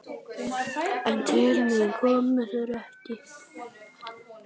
En til mín komu þeir ekki.